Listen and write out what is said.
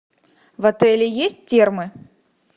в отеле есть термы